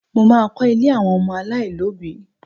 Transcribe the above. Mo má a kọ́ ilé àwọn ọmọ aláìlóbìí